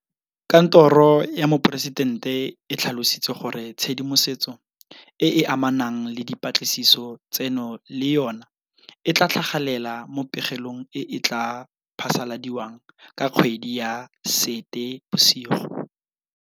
Kantoro ya Moporesitente e tlhalositse gore tshedimosetso e e amanang le dipatlisiso tseno le yona e tla tlhagelela mo pegelong e e tla phasaladiwang ka kgwedi ya Seetebosigo.